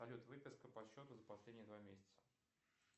салют выписка по счету за последние два месяца